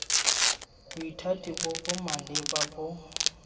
bothati bo bo maleba bo